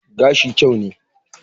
Gashi kyau ne.